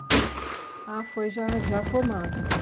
Ah, foi já já formado então?